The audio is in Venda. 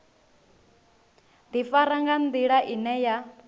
ḓifara nga nḓila ine ya